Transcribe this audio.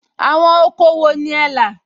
Àwọn oko wo ni ẹ là?